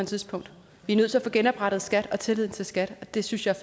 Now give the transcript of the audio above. tidspunkt vi er nødt til at få genoprettet skat og tilliden til skat og det synes jeg